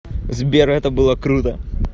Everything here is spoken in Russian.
сбер это было круто